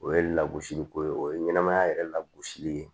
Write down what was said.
O ye lagosiliko ye o ye ɲɛnɛmaya yɛrɛ lagosili ye